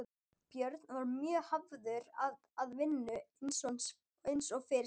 Björn var mjög hafður að vinnu eins og fyrr segir.